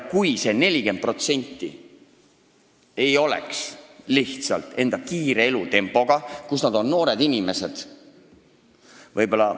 Kui see 40% oleks tingitud lihtsalt noorte inimeste kiirest elutempost ...